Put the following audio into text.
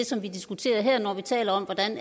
som vi diskuterer her når vi taler om hvordan